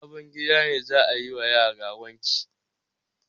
A sabon gida ne za a yi wa yara wanki.